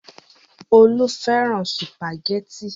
Olú fẹ́ràn sùpàgẹ́tì.